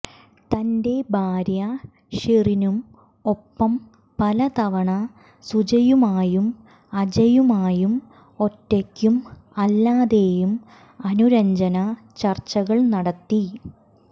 തന്റെ ഭാര്യ ഷെറിനും ഒപ്പം പലതവണ സുജയുമായും അജയുമായും ഒറ്റക്കും അല്ലാതെയും അനുരഞ്ജന ചർച്ചകൾ നടത്തി